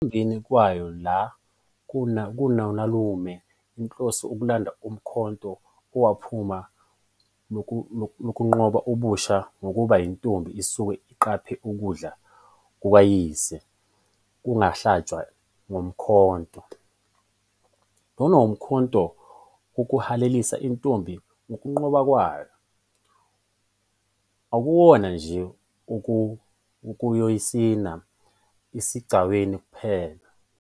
Ekuhambeni kwayo la koninalume inhloso ukulanda umkhonto, owuphawu lokunqoba ubusha ngoba intombi isuke iqaphe ukudla kukayise kwangahlatshwa ngomkhonto. Lona ngumkhonto wokuhalalisela intombi ngokunqoba kwayo, akuwona nje owokuyosina esigcawini kuphela.